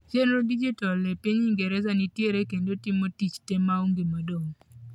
chenro dijital e piny ingereza nitiere kendo timo tich tee maonge madong'